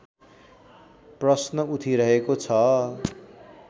प्रश्न उठिरहेको छ